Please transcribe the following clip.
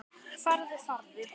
Farðu, farðu.